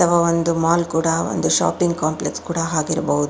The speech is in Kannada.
ಅಥವಾ ಒಂದು ಮಾಲ್ ಕೂಡ ಒಂದು ಶಾಪಿಂಗ್ ಕಾಂಪ್ಲೆಕ್ಸ್ ಕೂಡ ಆಗಿರಬಹುದು.